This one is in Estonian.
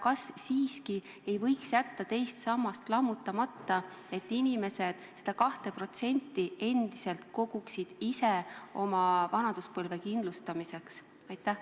Kas siiski ei võiks jätta teise samba lammutamata, et inimesed seda 2% endiselt koguksid ise oma vanaduspõlve kindlustamiseks?